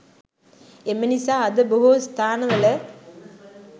එම නිසා අද බොහෝ ස්ථානවල